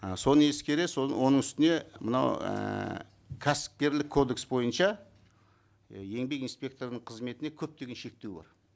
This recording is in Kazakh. і соны ескере оның үстіне мынау і кәсіпкерлік кодекс бойынша еңбек инспекторының қызметіне көптеген шектеу бар